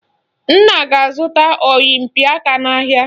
Nna ga-azụta oyompịaka n'ahịa